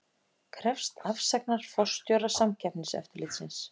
Krefst afsagnar forstjóra Samkeppniseftirlitsins